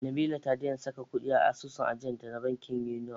Nabila ta daina saka kuɗi a asusun ajiyanta na bankin Union.